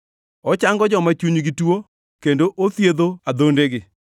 Ochango joma chunygi tuo kendo othiedho adhondegi.